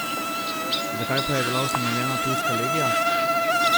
Zakaj pa je bila ustanovljena tujska legija?